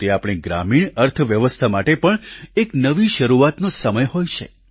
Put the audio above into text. તે આપણી ગ્રામીણ અર્થવ્યવસ્થા માટે પણ એક નવી શરૂઆતનો સમય હોય છે